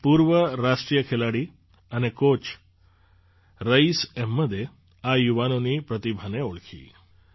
એક પૂર્વ રાષ્ટ્રીય ખેલાડી અને કૉચ રઈસ એહમદે આ યુવાનોની પ્રતિભાને ઓળખી